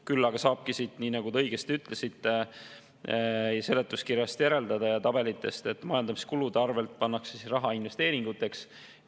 Küll aga saab, nii nagu te õigesti ütlesite, siit seletuskirjast lugeda ja tabelitest näha, et majandamiskulude arvelt kantakse raha üle investeeringuteks.